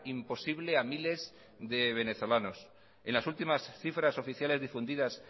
imposible a miles de venezolanos en las últimas cifras oficiales difundidas